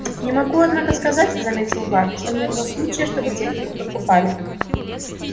не могу однако сказать заметил бар что не было случая чтобы техников подкупали